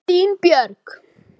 Þín Björk.